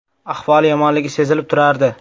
Ahvoli yomonligi sezilib turardi.